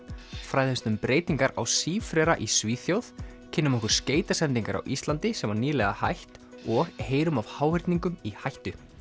fræðumst um breytingar á sífrera í Svíþjóð kynnum okkur skeytasendingar á Íslandi sem var nýlega hætt og heyrum af háhyrningum í hættu